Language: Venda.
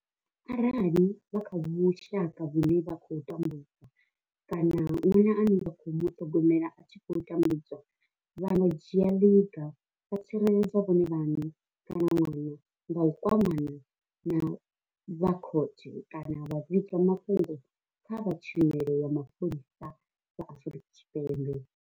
Arali vha kha vhushaka vhune vha tambu dzwa kana ṅwana ane vha khou muṱhogomela a tshi khou tambudzwa, vha nga dzhia ḽiga vha tsireledza vhone vhaṋe kana ṅwana nga u kwamana na vha khothe kana vha vhiga mafhungo kha vha tshumelo ya mapholisa vha Afrika Tshipembe.